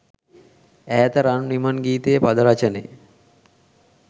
ඈත රන් විමන් ගීතයේ පද රචනය